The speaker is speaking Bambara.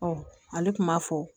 ale tun b'a fɔ